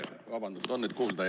Vabandust!